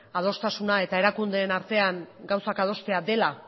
adostasuna eta erakundeen artean gauzak adostea dela